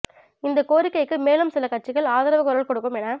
இந்த கோரிக்கைக்கு மேலும் சில கட்சிகள் ஆதரவு குரல் கொடுக்கும் என